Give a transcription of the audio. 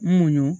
Muɲu